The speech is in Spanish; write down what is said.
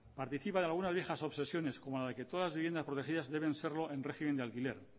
participa de algunas viejas obsesiones como la que todas las viviendas protegidas deben serlo en régimen de alquiler